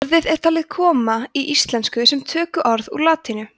orðið er talið komið í íslensku sem tökuorð úr latínu